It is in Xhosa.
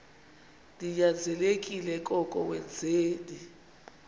ninyanzelekile koko wenzeni